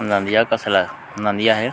नदिया कस ला नांदिया हे।